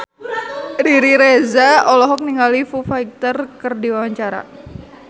Riri Reza olohok ningali Foo Fighter keur diwawancara